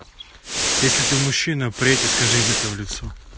если ты мужчина приедь и скажи им это в лицо